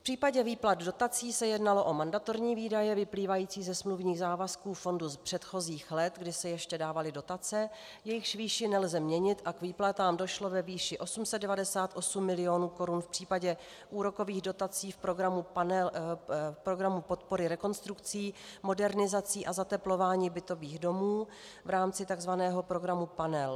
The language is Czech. V případě výplat dotací se jednalo o mandatorní výdaje vyplývající ze smluvních závazků fondu z předchozích let, kdy se ještě dávaly dotace, jejichž výši nelze měnit, a k výplatám došlo ve výši 898 mil. korun v případě úrokových dotací v programu podpory rekonstrukcí, modernizací a zateplování bytových domů v rámci tzv. programu Panel.